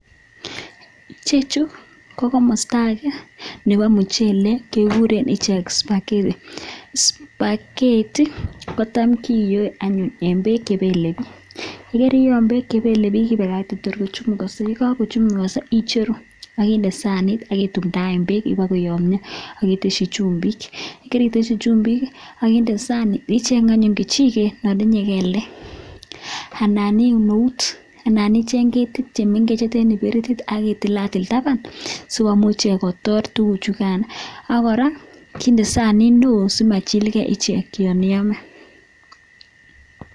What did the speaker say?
Icheju ko komosta age nebo muchelek, kiguren ichek spagheti. Spagheti kotam kiyoe anyun en beek che bele biik, igere yon beek che belebiik ibakate tor kochumukoso, ye kagochumukoso iicheru ak inde sanit ak itumdaen beek iboko yomnyo ak itesyi chumbik. Ye keritesyi chumbik ak inde sanit, icheng anyun kechiget non tinye kelek. Anan iun eut anan icheng ketit che mengechen che ten kibiritit ak itilatil taban sikomuch ichek kotor tuguchugan. Ak kora inde sanit neo simachilge ichek yon iome.